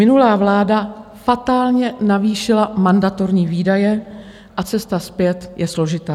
Minulá vláda fatálně navýšila mandatorní výdaje a cesta zpět je složitá.